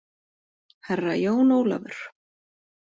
Herra Jón Ólafur!